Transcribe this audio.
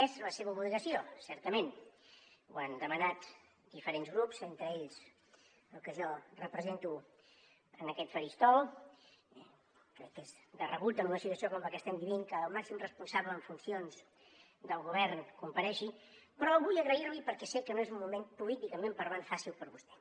és la seva obligació certament ho han demanat diferents grups entre ells el que jo represento en aquest faristol crec que és de rebut en una situació com la que estem vivint que el màxim responsable en funcions del govern comparegui però vull agrair li perquè sé que no és un moment políticament parlant fàcil per a vostè